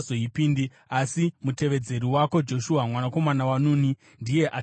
Asi mutevedzeri wako, Joshua, mwanakomana waNuni, ndiye achapindamo.